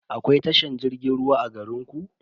Akwai tashar jirgin ruwa a garinku?